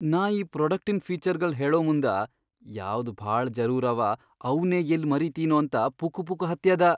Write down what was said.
ನಾ ಈ ಪ್ರೋಡಕ್ಟಿನ್ ಫೀಚರ್ಗಳ್ ಹೇಳಮುಂದ ಯಾವ್ದ್ ಭಾಳ ಜರೂರ್ ಅವ ಅವ್ನೇ ಯಲ್ಲಿ ಮರೀತಿನೊ ಅಂತ ಪುಕುಪುಕು ಹತ್ಯದ.